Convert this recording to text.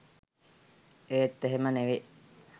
ඒත් එහෙම නෙවේ